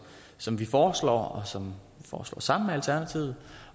som vi foreslår og som vi foreslår sammen med alternativet